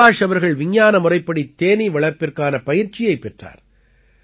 சுபாஷ் அவர்கள் விஞ்ஞான முறைப்படி தேனீ வளர்ப்பிற்கான பயிற்ச்சியைப் பெற்றார்